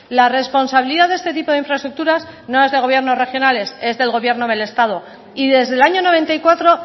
la responsabilidad de este tipo de infraestructuras no es de gobiernos regionales es del gobierno del estado y desde el año noventa y cuatro